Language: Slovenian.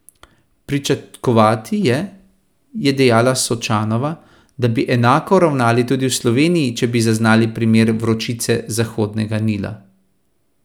Pričakovati je, je dejala Sočanova, da bi enako ravnali tudi v Sloveniji, če bi zaznali primere vročice Zahodnega Nila.